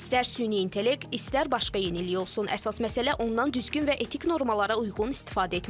İstər süni intellekt, istər başqa yenilik olsun, əsas məsələ ondan düzgün və etik normalara uyğun istifadə etməkdir.